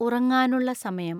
ഉറങ്ങാനുള്ള സമയം